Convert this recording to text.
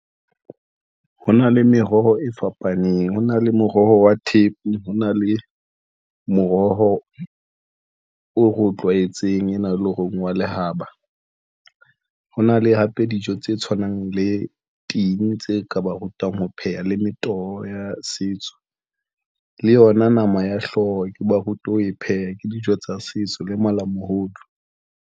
Ho na le meroho e fapaneng. Ho na le moroho wa thepe, ho na le moroho o re o tlwaetseng ena eleng hore wa lehaba. Ho na le hape dijo tse tshwanang le ting, tse ka ba rutang ho pheha le metoho ya setso, le yona nama ya hlooho, ke ba rutwe ho e pheha ke dijo tsa setso le malamohodu.